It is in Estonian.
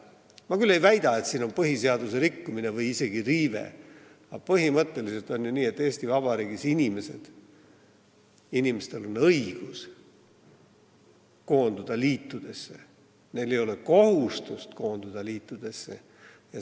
Ma küll ei väida, et siin on põhiseaduse rikkumine või isegi riive, aga põhimõtteliselt on ju nii, et Eesti Vabariigis on inimestel õigus koonduda liitudesse, neil ei ole kohustust seda teha.